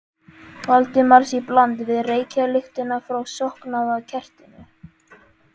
Valdimars í bland við reykjarlyktina frá slokknaða kertinu.